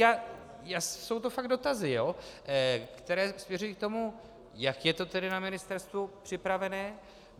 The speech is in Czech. Jsou to fakt dotazy, které směřují k tomu, jak je to tedy na ministerstvu připravené.